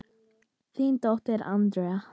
Þín dóttir, Andrea.